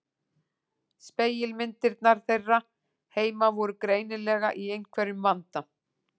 Spegilmyndirnar þeirra heima voru greinilega í einhverjum vanda.